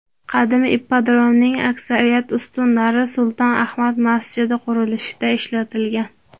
Qadim ippodromning aksariyat ustunlari Sulton Ahmad masjidi qurilishida ishlatilgan.